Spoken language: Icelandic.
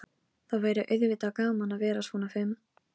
Það er til miklu betri mynd af þér annars staðar.